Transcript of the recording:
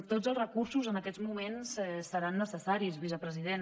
tots els recursos en aquests moments seran necessaris vicepresident